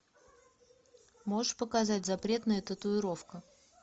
можешь показать запретная татуировка